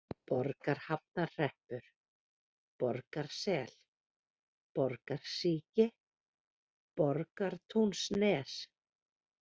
Borgarhafnarhreppur, Borgarsel, Borgarsíki, Borgartúnsnes